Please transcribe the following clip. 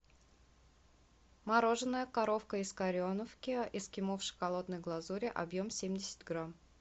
мороженое коровка из кореновки эскимо в шоколадной глазури объем семьдесят грамм